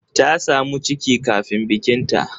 Ta samu ciki kafin bikinta.